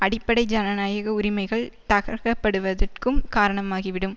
அடிப்படை ஜனநாயக உரிமைகள் தகர்க்கப்படுவதற்கும் காரணமாகிவிடும்